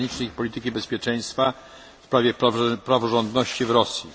Zagranicznych i Polityki Bezpieczeństwa w sprawie praworządności w Rosji.